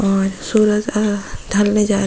और अ सूरज ढलने जा रहे जा रहा--